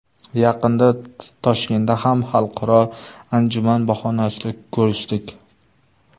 Yaqinda Toshkentda ham xalqaro anjuman bahonasida ko‘rishdik.